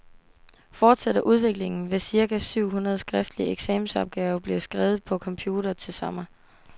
Fortsætter udviklingen, vil cirka syv hundrede skriftlige eksamensopgaver blive skrevet på computer til sommer.